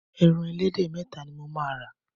Ẹran ẹlẹ́dẹ̀ méta ni mo máa rà.